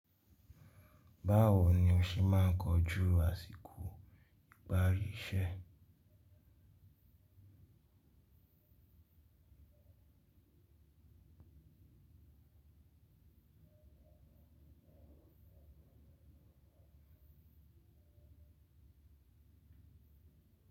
Báwo ni o ṣe máa ń kojú àsìkò ìparí iṣẹ́?